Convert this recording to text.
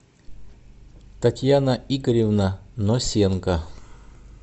татьяна игоревна носенко